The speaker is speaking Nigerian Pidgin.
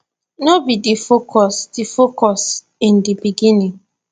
no be di focus di focus in di beginning